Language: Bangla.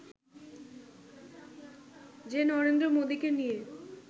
যে নরেন্দ্র মোদিকে নিয়ে